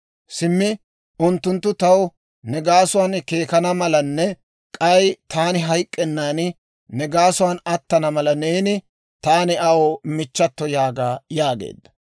Simmi unttunttu taw ne gaasuwaan keekana malanne, k'ay taani hayk'k'ennan ne gaasuwaan attana mala neeni, ‹Taani Aa michchato› yaaga» yaageedda.